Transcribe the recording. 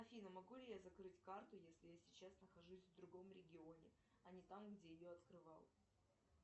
афина могу ли я закрыть карту если я сейчас нахожусь в другом регионе а не там где ее открывала